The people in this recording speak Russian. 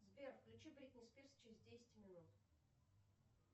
сбер включи бритни спирс через десять минут